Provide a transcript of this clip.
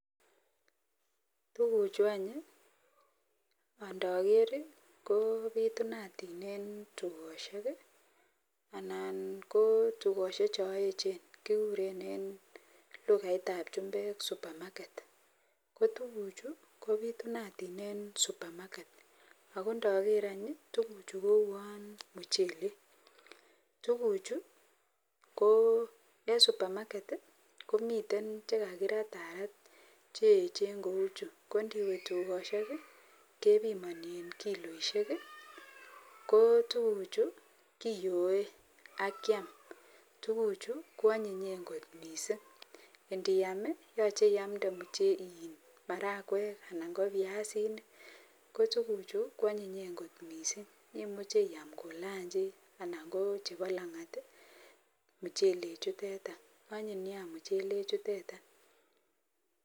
Tugukchu any ndaker ko bitunatin en tugoshek anan ko tugoshek chon echen kikuren en lugait ab chumbek supermarket kotuguk hu kobitunatin en supermarket ako ndaker tuguk chu kouwon muchelek tuguk chu ko en supermarket komiten chekakiratarat cheyechen kou chu kondiemwe tugoshek kebimani en kiloishek ko tuguk chu kiyoe ak Kiam tuguk chu kwanyin kot mising indiyam koyache iyamde marakwek anan kobiasinik kotuguchu kwanyinyen kot mising imuche iyam kolanchi anan kochebo langat muchelek chuteton anyinei muchelek chuton